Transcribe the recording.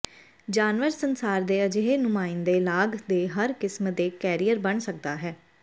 ਜਾਨਵਰ ਸੰਸਾਰ ਦੇ ਅਜਿਹੇ ਨੁਮਾਇੰਦੇ ਲਾਗ ਦੇ ਹਰ ਕਿਸਮ ਦੇ ਕੈਰੀਅਰ ਬਣ ਸਕਦਾ ਹੈ